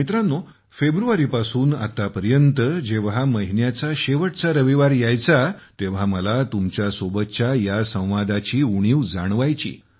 मित्रांनो फेब्रुवारीपासून आतापर्यंत जेव्हा महिन्याचा शेवटचा रविवार यायचा तेव्हा मला तुमच्या सोबतच्या या संवादाची उणीव जाणवायची